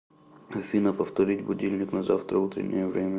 афина повторить будильник на завтра утреннее время